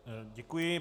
Děkuji.